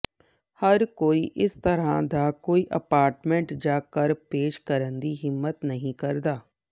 ਹਰ ਕੋਈ ਇਸ ਤਰ੍ਹਾਂ ਦਾ ਕੋਈ ਅਪਾਰਟਮੈਂਟ ਜਾਂ ਘਰ ਪੇਸ਼ ਕਰਨ ਦੀ ਹਿੰਮਤ ਨਹੀਂ ਕਰਦਾ